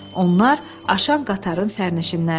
Onlar aşan qatarın sərnişinləri idi.